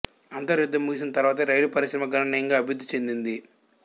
అంతర్యుద్ధం ముగిసిన తరువాతనే రైలు పరిశ్రమ గణనీయంగా అభివృద్ధి చెందింది